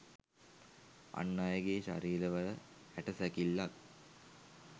අන් අයගේ ශරීරවල ඇට සැකිල්ලත්